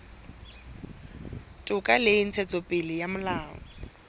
toka le ntshetsopele ya molao